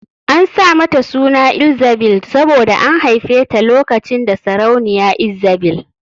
An sa mata suna Elzzabil saboda an haife ta lokacin da sarauniya Ezzabil